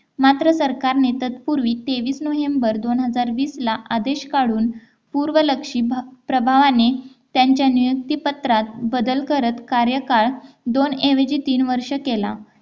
मात्र सरकार ने तत्पूर्वी तेवीस नोव्हेंबर दोन हजार वीस ला आदेश काढून पूर्वलक्षी प्रभावाने त्यांच्या नियुक्ती पत्रात बदल करत कार्यकाळ दोन ऐवजी तीन वर्षे केला